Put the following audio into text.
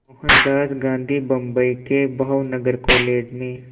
मोहनदास गांधी बम्बई के भावनगर कॉलेज में